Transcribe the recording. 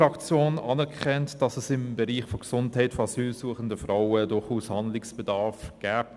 Die EDU anerkennt, dass es im Bereich der Gesundheit von asylsuchenden Frauen durchaus Handlungsbedarf gibt.